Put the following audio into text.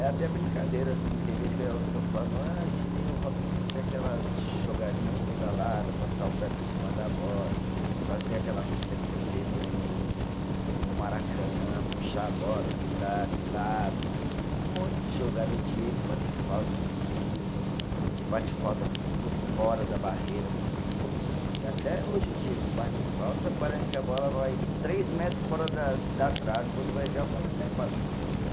É até brincadeira assim, tem vez que eu, que eu falo, ah ensinei o Robinho a fazer aquelas jogadinha de pedalada, passar o pé por cima da bola, fazer aquela fita que ele fez no no no Maracanã, puxar a bola, driblar, de lado, um monte de jogada, o Diego bater falta com curva, você bate falta por fora da barreira com curva, e até hoje o Diego bate falta, parece que a bola vai três metros fora da da trave, quando vai ver a bola cai para dentro do gol,